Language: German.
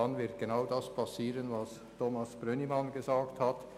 Dann wird genau das passieren, was Thomas Brönnimann gesagt hat: